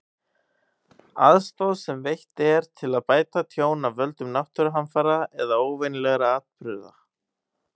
Aðstoð sem veitt er til að bæta tjón af völdum náttúruhamfara eða óvenjulegra atburða.